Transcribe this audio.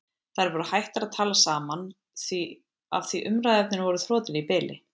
Þær voru hættar að tala saman af því umræðuefnin voru þrotin í bili.